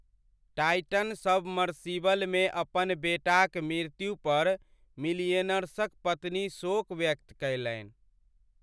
Titan सबमर्सिबलमे अपन बेटाक मृत्यु पर मिलियेनर्सक पत्नी शोक व्यक्त कयलनि।